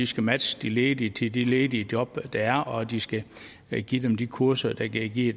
skal matche de ledige til de ledige job der er og at de skal give dem de kurser der kan give